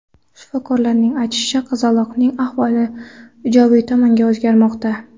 Shifokorlarning aytishicha, qizaloqning ahvoli ijobiy tomonga o‘zgarmoqda.